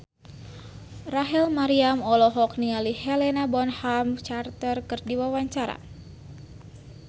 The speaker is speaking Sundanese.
Rachel Maryam olohok ningali Helena Bonham Carter keur diwawancara